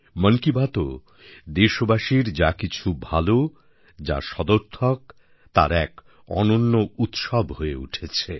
মন কি বাতও দেশবাসীর যা কিছু ভালো যা সদর্থক তার এক অনন্য উৎসব হয়ে উঠেছে